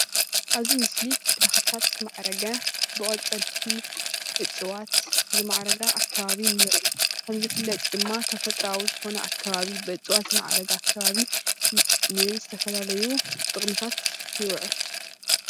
ኣብዚ ምስሊ ብተክልታት ዝማዕረገ ብቆፀልቲ እፅዋት ዝማዕረገ ኣከባቢ ንርኢ ከም ዝፍለጥ ድማ ተፈጥርኣዊ ዝኮነ ኣከባቢ ብእፅዋት ዝማዕረገ ኣከባቢ ንዝተፈላለዩ ጥቅምታት ይዉዕል።